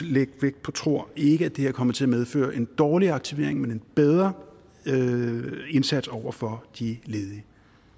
lægge vægt på tror ikke at det her kommer til at medføre dårligere aktivering men en bedre indsats over for de ledige